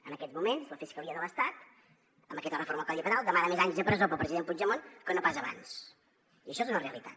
en aquests moments la fiscalia de l’estat amb aquesta reforma del codi penal demana més anys de presó per al president puigdemont que no pas abans i això és una realitat